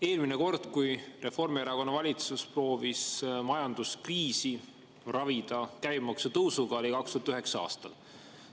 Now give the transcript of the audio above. Eelmine kord, kui Reformierakonna valitsus proovis ravida majanduskriisi käibemaksu tõusuga, oli 2009. aastal.